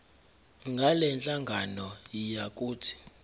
ngalenhlangano yiya kut